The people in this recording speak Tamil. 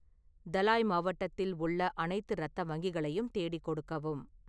தலாய் மாவட்டத்தில் உள்ள அனைத்து இரத்த வங்கிகளையும் தேடிக் கொடுக்கவும்